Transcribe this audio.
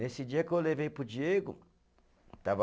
Nesse dia que eu levei para o Diego, estava